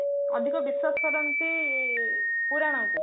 ଅଧିକ ବିଶ୍ଵାସ କରନ୍ତି ପୁରାଣ କୁ